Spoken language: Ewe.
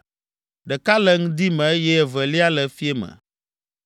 ɖeka le ŋdi me, eye evelia le fiẽ me.